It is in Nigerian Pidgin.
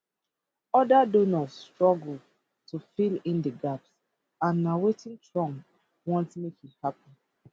oda donors struggle to fill di gaps and na wetin trump want make e happun